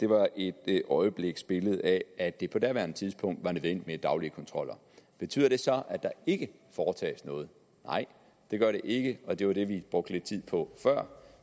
var et øjebliksbillede af at det på daværende tidspunkt var nødvendigt med daglige kontroller betyder det så at der ikke foretages noget nej det gør det ikke og det var det vi brugte lidt tid på før